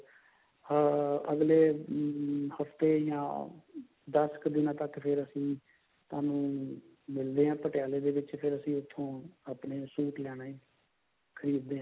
ਅਹ ਅੱਗਲੇ ਹਫਤੇ ਜਾ this ਕ ਦਿਨਾ ਤੱਕ ਫੇਰ ਅਸੀਂ ਤੁਹਾਨੂੰ ਮਿਲਦੇ ਹਾਂ ਪਟਿਆਲੇ ਦੇ ਵਿੱਚ ਫੇਰ ਉੱਥੋ ਅਸੀਂ ਆਪਣਾ suit ਲੈਣਾ ਈ ਖਰੀਦ ਦੇ